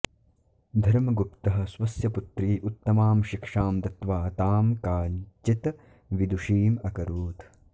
धर्मगुप्तः स्वस्य पुत्र्यै उत्तमां शिक्षां दत्त्वा तां काञ्चित् विदुषीम् अकरोत्